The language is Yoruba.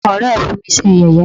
àwọn ọ̀rẹ́ ẹ́ mí fi ṣé yẹ̀yẹ́.